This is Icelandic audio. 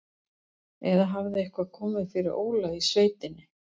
Eða hafði eitthvað komið fyrir Óla í sveitinni?